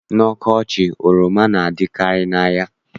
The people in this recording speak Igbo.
N'ọkọchị, oroma na-adịkarị n'ahịa.